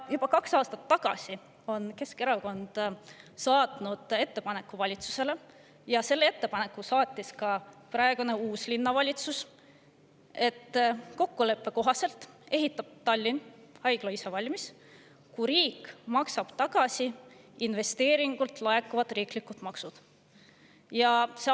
Juba kaks aastat tagasi saatis Keskerakond valitsusele ettepaneku ja selle ettepaneku saatis neile ka praegune linnavalitsus: kokkuleppe kohaselt ehitab Tallinn haigla ise valmis, kui riik maksab neile tagasi investeeringult laekuvad riiklikud maksud.